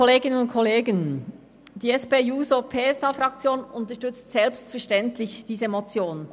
Die SP-JUSO-PSA-Fraktion unterstützt selbstverständlich diese Motion.